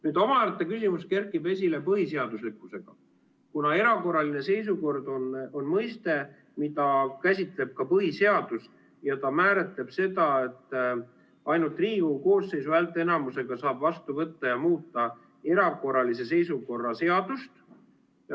Nüüd omaette küsimus kerkib esile seoses põhiseaduslikkusega, kuna erakorraline seisukord on mõiste, mida käsitleb ka põhiseadus, ja ta määratleb seda, et ainult Riigikogu koosseisu häälteenamusega saab vastu võtta ja muuta erakorralise seisukorra seadust.